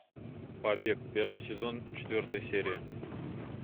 побег первый сезон четвертая серия